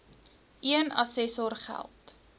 een assessor geld